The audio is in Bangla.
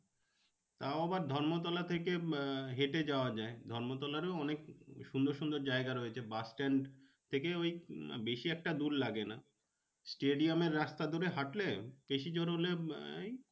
তাও আবার ধর্মতলা থেকে আহ হেঁটে যাওয়া যায় ধর্মতলারও অনেক সুন্দর সুন্দর জায়গা রয়েছে bus stand থেকে ওই বেশি একটা দূর লাগে না। stadium এর রাস্তা ধরে হাঁটলে বেশি জোর হলে আহ এই